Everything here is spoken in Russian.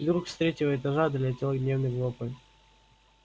вдруг с третьего этажа долетел гневный вопль